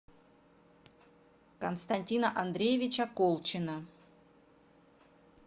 константина андреевича колчина